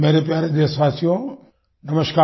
मेरे प्यारे देशवासियो नमस्कार